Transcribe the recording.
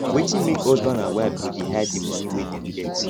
wetin make husband and wife go dey hide di moni wey dem get